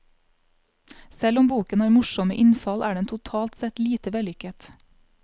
Selv om boken har morsomme innfall er den totalt sett lite vellykket.